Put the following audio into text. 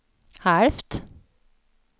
halvt